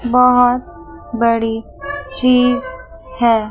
बहोत बड़ी चीज है।